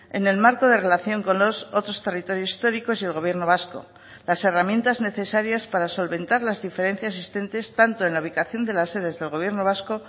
en el marco de relación con los otros territorios históricos y el gobierno vasco las herramientas necesarias para solventar las diferencias existentes tanto en la ubicación de las sedes del gobierno vasco